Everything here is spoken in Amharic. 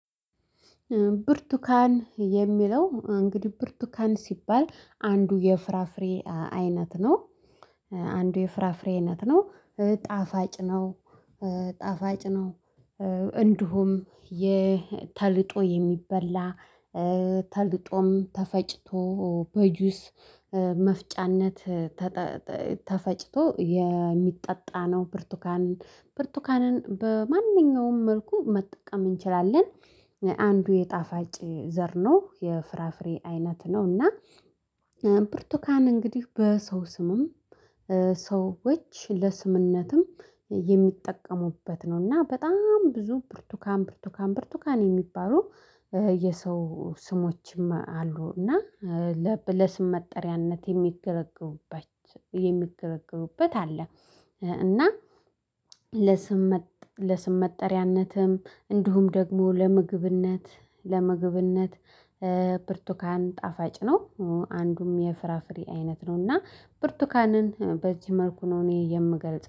ብርቱካን የሚለው እንግዲህ ብርቱካን ሲባል አንዱ የፍራፍሬ አይነት ነው። አንዱ የፍራፍሬ አይነት ነው። ጣፋጭ ነው። ጣፋጭ ነው። እንዲሁም የተልጦ የሚበላ። ተልጦም ተፈጭቶ በጁስ መፍጫነት። ተፈጭቶ የሚጠጣ ነው ብርቱካን ብርቱካንን በማንኛውም መልኩ መጠቀም እንችላለን። አንዱ የጣፋጭ ዘር ነው የፍራፍሬ አይነት ነው እና። ብርቱካን እንግዲህ በሰው ስምም። ሰዎች ለስምነትም የሚጠቀሙበት ነው። እና በጣም ብዙ ብርቱካን ብርቱካን ብርቱካን የሚባሉ የሰው ስሞችም አሉ እና። ለስም መጠሪያነት የሚገለገሉባቼ የሚገለገሉበት አለ። እና ለስም ለስም መጠሪያነትም እንዲሁም ደግሞ ለምግብነት ለምግብነት ብርቱካን ጣፋጭ ነው። አንዱም የፍራፍሬ አይነት ነው እና ብርቱካንን በዚህ መልኩ ነው እኔ የምገልጽ